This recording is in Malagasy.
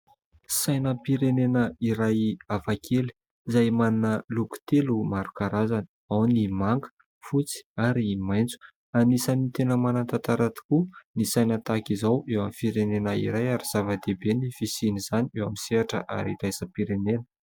Sainam-pirenena iray hafa kely, izay manana loko telo maro karazana, ao ny manga, fotsy ary maitso. Anisan'ny tena manan-tantara tokoa ny saina tahaka izao eo amin'ny firenena iray ary zava-dehibe ny fisian'izany eo amin'ny sehatra ara iraisam-pirenena.